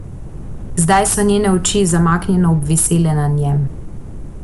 Zdaj so njene oči zamaknjeno obvisele na njem.